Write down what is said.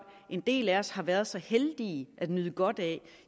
en del af os har været så heldige at nyde godt af det